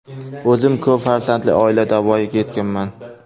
O‘zim ko‘p farzandli oilada voyaga yetganman.